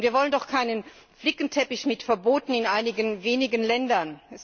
Wir wollen doch keinen Flickenteppich mit Verboten in einigen wenigen Ländern.